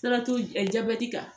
Siratu jabɛti kan.